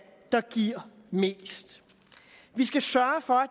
der giver mest vi skal sørge for at